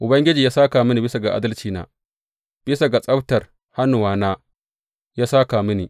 Ubangiji ya sāka mini bisa ga adalcina; bisa ga tsabtar hannuwana ya sāka mini.